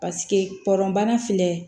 Paseke kɔlɔn bana filɛ